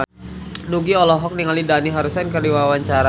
Nugie olohok ningali Dani Harrison keur diwawancara